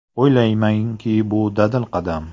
O‘ylaymanki, bu dadil qadam.